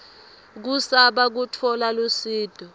kusaba kutfola lusito